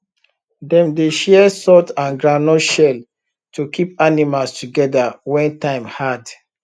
dem dey share salt and groundnut shell to keep animals together when time hard